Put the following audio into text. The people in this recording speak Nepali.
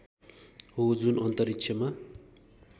हो जुन अन्तरिक्षमा